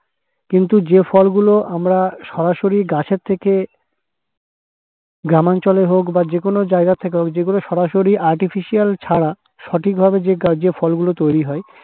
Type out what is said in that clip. কিন্তু যে ফলগুলো আমরা সরাসরি গাছের থেকে গ্রামাঞ্চলে হোক বা যেকোন জায়গা থেকে হোক যেগুলো সরাসরি artificial ছাড়া সঠিকভাবে গাছে যে ফলগুলি তৈরি হয়